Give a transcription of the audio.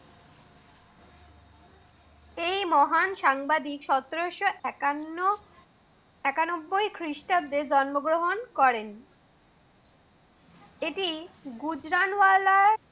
এই মহান সাংবাদিক সতেরোশ একান্ন একানব্বই খ্রিস্টাব্দ জন্মগ্রহণ করেন। এটি গুজরানুওলা